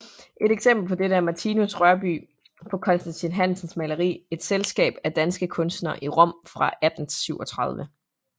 Et eksempel på dette er Martinus Rørbye på Constatin Hansens maleri Et selskab af danske kunstnere i Rom fra 1837